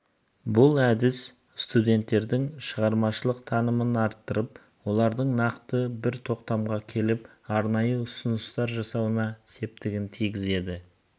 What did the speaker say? бұл әдіс студенттердің шығармашылық танымын арттырып олардың нақты бір тоқтамға келіп арнайы ұсыныстар жасауына септігін тигізеді